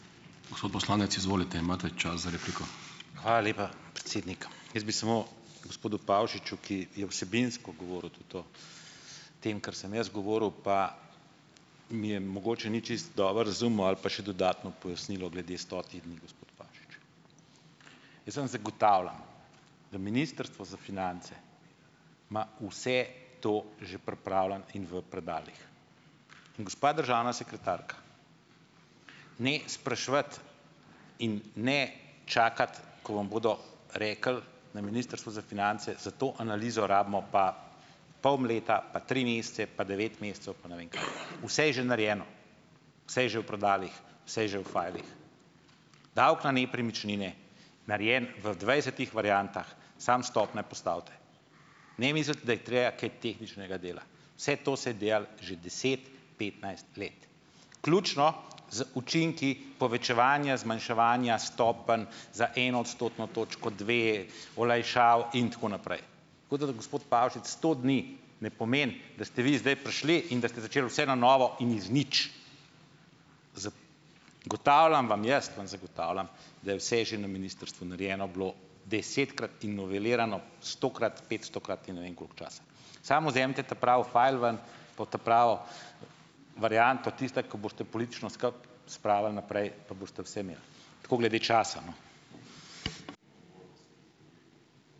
Hvala lepa, predsednik. Jaz bi samo gospodu Pavšiču, ki je vsebinsko govoril tudi o tem, kar sem jaz govoril, pa mi je mogoče ni čisto dobro razumel ali pa še dodatno pojasnilo glede stotih dni, gospod Pavšič. Jaz vam zagotavljam, da Ministrstvo za finance ima vse to že pripravljeno in v predalih. Gospa državna sekretarka, ne spraševati in ne čakati, ko vam bodo rekli na Ministrstvu za finance: "Za to analizo rabimo pa pol leta, pa tri mesece, pa devet mesecev pa ne vem kaj." Vse je že narejeno. vse je že v predalih, vse je že fajlih. Davek na nepremičnine narejen v dvajsetih variantah, samo stopnje postavite. Ne misliti, da je treba kaj tehničnega dela. Vse to se je delalo že deset, petnajst let vključno z učinki povečevanja, zmanjševanja stopenj za eno odstotno točko, dve olajšav in tako naprej. Tako da gospod Pavšič, sto dni ne pomeni, da ste vi zdaj prišli in da ste začeli vse na novo in iz nič. Zagotavljam vam, jaz vam zagotavljam, da je vse že na ministrstvu narejeno bilo desetkrat in novelirano stokrat, petstokrat in ne vem koliko časa. Samo vzemite ta pravi fajl ven, pa v ta pravo varianto, tista, ko boste politično skupaj spravili naprej, pa boste vse imeli. Tako glede časa, no.